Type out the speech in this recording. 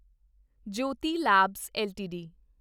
Jyoti labs LTD